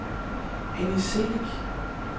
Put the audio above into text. Annie Celik